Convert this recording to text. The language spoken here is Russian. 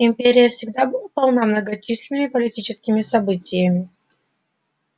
империя всегда была полна многочисленными политическими событиями